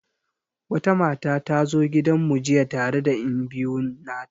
Wata mata ta zo gidan mu jiya tare da enbiyu nata.